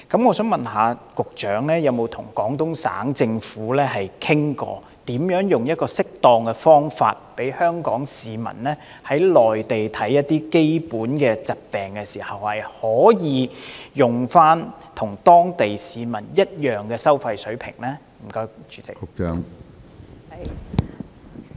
我想問局長曾否與廣東省政府商討適當的方法，讓香港市民在內地就基本疾病求醫時，可以使用與當地市民一樣的收費水平？